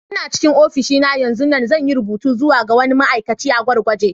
Ina cikin ofishi na yanzun nan, zan yi rubutu zuwa ga wani ma'aikaci a gurguje.